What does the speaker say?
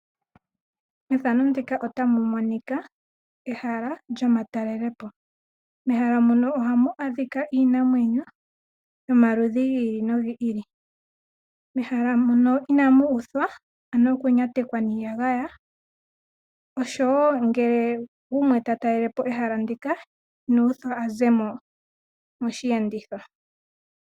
Ehala lyomatalelepo , mehala muno ohamu adhika Iinamwenyo yomaludhi ngili nongili , mehala muno inamu uthwa oku nyatekwa niiyagaya, oshowo ngele gumwe tatalelepo ehala ndika Inuthwa azemo moshi enditho.